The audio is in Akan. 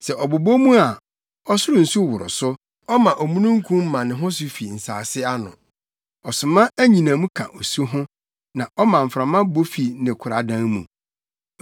Sɛ ɔbobɔ mu a, ɔsoro nsu woro so; ɔma omununkum ma ne ho so fi nsase ano. Ɔsoma anyinam ka osu ho na ɔma mframa bɔ fi ne koradan mu.